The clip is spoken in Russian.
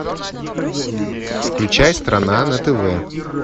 включай страна на тв